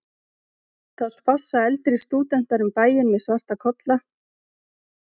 þá spássera eldri stúdentar um bæinn með svarta kolla